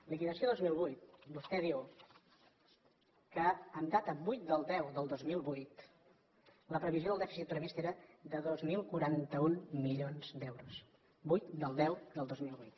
liquidació dos mil vuit vostè diu que en data vuit del x del dos mil vuit la previsió del dèficit previst era de dos mil quaranta u milions d’euros vuit del x del dos mil vuit